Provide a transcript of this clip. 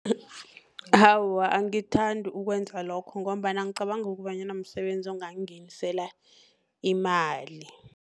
Awa, angithandi ukwenza lokho, ngombana angicabangi kobanyana msebenzi ongangingenisela imali.